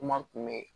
Kuma kun be yen